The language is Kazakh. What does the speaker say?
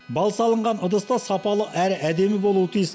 бал салынған ыдыс та сапалы әрі әдемі болуы тиіс